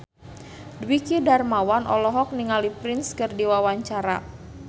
Dwiki Darmawan olohok ningali Prince keur diwawancara